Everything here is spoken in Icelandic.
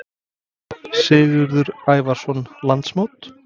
Sigurður Ævarsson: Landsmót?